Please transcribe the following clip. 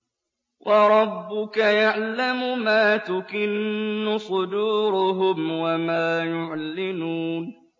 وَرَبُّكَ يَعْلَمُ مَا تُكِنُّ صُدُورُهُمْ وَمَا يُعْلِنُونَ